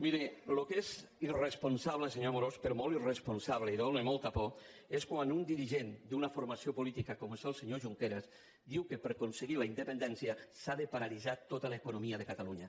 miri el que és irresponsable senyor amorós però molt irresponsable i dóna molta por és quan un dirigent d’una formació política com és el senyor junqueras diu que per aconseguir la independència s’ha de paralitzar tota l’economia de catalunya